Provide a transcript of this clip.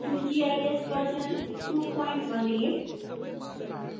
qgis version 218